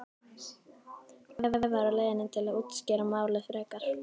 Bréf væri á leiðinni til að útskýra málið frekar.